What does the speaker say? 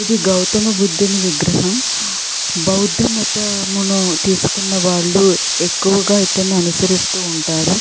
ఇది గౌతమి బుద్ధుని విగ్రహం బావుందా మతమును తీసుకున్న వాళ్ళు ఎక్కువ దీని అనుసరిస్తూ ఉంటారు.